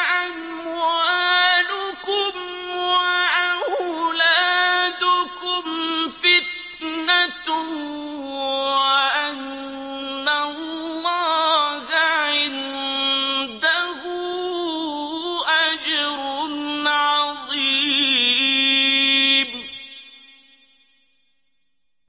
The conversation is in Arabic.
أَمْوَالُكُمْ وَأَوْلَادُكُمْ فِتْنَةٌ وَأَنَّ اللَّهَ عِندَهُ أَجْرٌ عَظِيمٌ